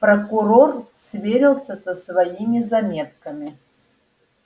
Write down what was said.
прокурор сверился со своими заметками